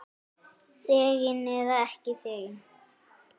Þegin eða ekki þegin.